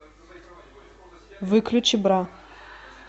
выключи бра